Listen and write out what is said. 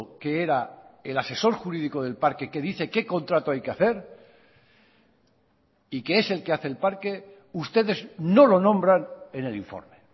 que era el asesor jurídico del parque que dice qué contrato hay que hacer y que es el que hace el parque ustedes no lo nombran en el informe